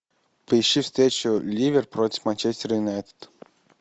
поищи встречу ливер против манчестер юнайтед